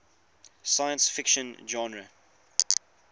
science fiction genre